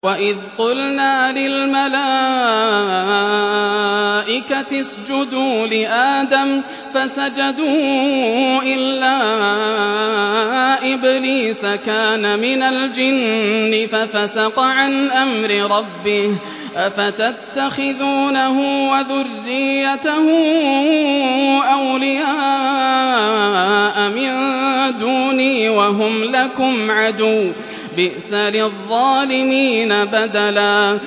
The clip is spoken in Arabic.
وَإِذْ قُلْنَا لِلْمَلَائِكَةِ اسْجُدُوا لِآدَمَ فَسَجَدُوا إِلَّا إِبْلِيسَ كَانَ مِنَ الْجِنِّ فَفَسَقَ عَنْ أَمْرِ رَبِّهِ ۗ أَفَتَتَّخِذُونَهُ وَذُرِّيَّتَهُ أَوْلِيَاءَ مِن دُونِي وَهُمْ لَكُمْ عَدُوٌّ ۚ بِئْسَ لِلظَّالِمِينَ بَدَلًا